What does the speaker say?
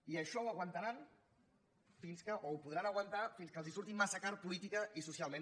i això ho aguantaran fins que o ho podran aguantar fins que els surti massa car políticament i socialment